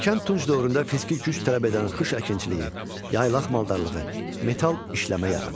Erkən Tunc dövründə fiziki güc tələb edən xış əkinçiliyi, yaylaq maldarlığı, metal işləmə yarandı.